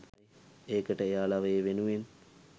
ඒකට එයාලට ඒ වෙනුවෙන්